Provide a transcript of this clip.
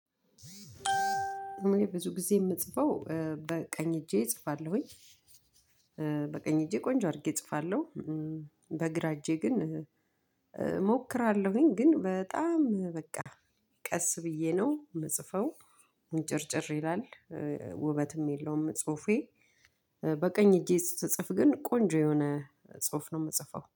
እኔ ብዙ ጊዜ የምጽፈው በቀኝ እጄ እጽፋለሁኝ። በቀኝ እጄ ቆንጆ አድርጌ እጽፋለሁ። በግራ እጄ ግን እሞክራለሁኝ ግን በጣም በቃ ቀስ ብዬ ነው የምጽፈው ምንጭርጭር ይላል፣ ውበትም የለውም ጽሁፌ በቀኝ እጄ ስጽፍ ግን ቆንጆ የሆነ ጽሁፍ ነው የምጽፈው።